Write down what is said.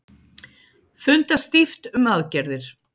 Funda stíft um aðgerðir